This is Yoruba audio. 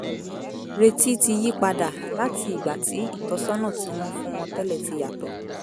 retí ti yí padà láti ìgbà tí ìtọ́sọ́nà tí wọ́n fún wọn tẹ́lẹ̀ ti yàtọ̀